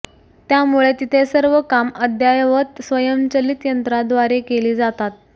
त्यामुळे तिथे सर्व कामं अद्ययावत स्वयंचलित यंत्रांद्वारे केली जातात